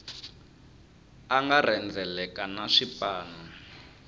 a nga rhendzeleka na swipanu